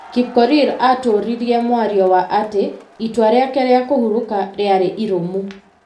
Kipkorir atũririe mwario wa atĩ itua rĩake rĩa kũhurũka rĩarĩ iromu.